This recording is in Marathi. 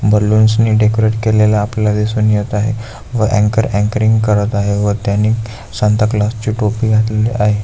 बलून्स ने डेकोरेट केलेले आपल्याला दिसून येत आहे व अँकर अँकरींग करत आहे व त्यानी सांता क्लॉज ची टोपी घातलेली आहे.